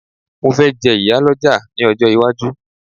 mo fe je iyaloja ni ojo iwaju